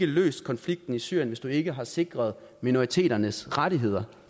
løst konflikten i syrien hvis vi ikke har sikret minoriteternes rettigheder